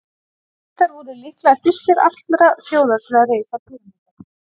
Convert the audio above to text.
Egyptar voru líklega fyrstir allra þjóða til að reisa píramída.